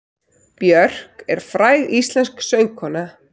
Björk er fræg íslensk söngkona.